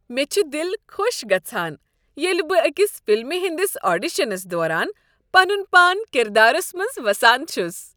مےٚ چھ دل خۄش گژھان ییٚلہ بہٕ أکس فلمہ ہٕندس آڈیشنس دوران پنن پان کردارس منز وسان چھُس۔